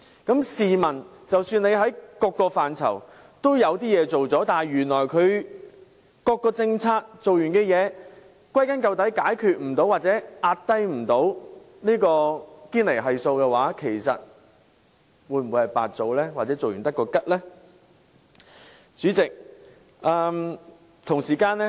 即使政府在各個範疇均做了點事，但原來歸根究底，在推行各項政策後仍未能解決問題或降低堅尼系數，試問其實是否白費氣力或徒勞無功呢？